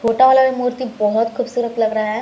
छोटा वाला भी मूर्ति बहोत खूबसुरत लग रहा है ।